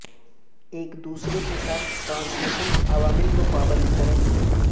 ایک دوسرے کے ساتھ ٹرانسمیشن عوامل کو پابند کریں